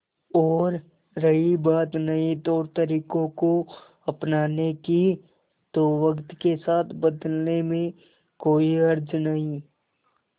और रही बात नए तौरतरीकों को अपनाने की तो वक्त के साथ बदलने में कोई हर्ज नहीं